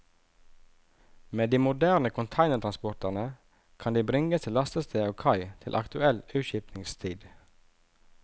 Med de moderne containertransporterne kan de bringes til lastested og kai til aktuell utskipningstid.